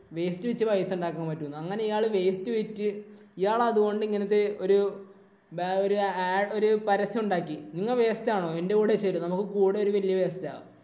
waste വിറ്റ് പൈസ ഉണ്ടാക്കാന്‍ പറ്റൂന്ന്. അങ്ങനെ ഇയാള് waste വിറ്റ് ഇയാള് അതുകൊണ്ട് അങ്ങനത്തെ ഒരു ഒരു ഒരു ആ പരസ്യം ഉണ്ടാക്കി. നിങ്ങ waste ആണോ? എന്‍റെ കൂടെ ചേര്. നമ്മുടെ ഒരു വല്യ waste ആ.